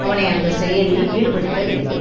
அவனை அந்த செயலில் ஈடுபடுத்த வேண்டும்